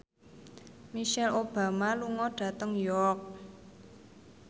Michelle Obama lunga dhateng York